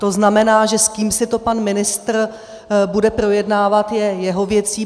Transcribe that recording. To znamená, že s kým si to pan ministr bude projednávat, je jeho věcí.